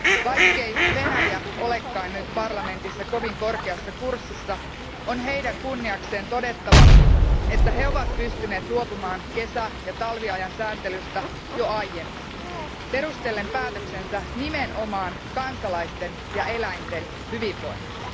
Vaikkei Venäjä ole nyt parlamentissa kovin korkeassa kurssissa, on heidän kunniakseen todettava, että he ovat pystyneet luopumaan kesä ja talviajan sääntelystä jo aiemmin, perustellen päätöksensä nimenomaan kansalaisten ja eläinten hyvinvoinnilla.